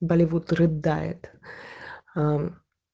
болливуд рыдает аа мм